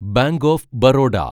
bank of Baroda